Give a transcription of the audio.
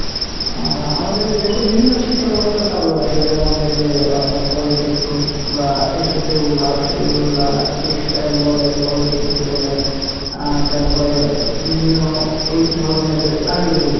আহ আমাদের দেশে বিভিন্ন শিক্ষা ব্যাবস্থা চালু আছে যেমন ওই যে আহ আপনার polytechnic বা এই sector গুলা আসে যেগুলা textile বলেন polytechnic বলেন আহ তারপরে বিভিন্ন এই ধরনের কারিগরী